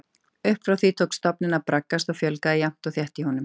Upp frá því tók stofninn að braggast og fjölgaði jafnt og þétt í honum.